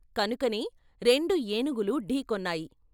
కనుకనే రెండు ఏనుగులు ఢీ కొన్నాయి.